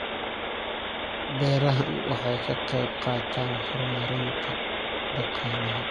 Beerahani waxa ay ka qayb qaataan horumarinta dhaqaalaha.